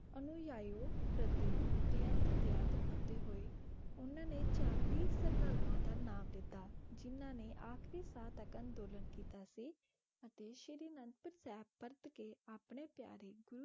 ਅਨੁਯਾਇਓ ਪ੍ਰਤੀ ਬੇਅੰਤ ਦਇਆ ਦਿਖਾਉਂਦੇ ਹੋਏ ਉਹਨਾਂ ਨੇ ਚਾਲੀ ਸ਼ਰਧਾਲੂਆਂ ਦਾ ਨਾਮ ਦਿੱਤਾ, ਜਿਨ੍ਹਾਂ ਨੇ ਆਖਰੀ ਸਾਹ ਤੱਕ ਅੰਦੋਲਨ ਕੀਤਾ ਸੀ ਅਤੇ ਸ੍ਰੀ ਅਨੰਦਪੁਰ ਸਾਹਿਬ ਪਰਤ ਕੇ ਆਪਣੇ ਪਿਆਰੇ ਗੁਰੂ